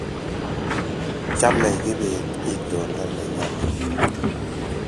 chame kibet itondo ne nyalil